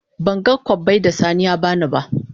Ban gan kobbai da sani ya bani na.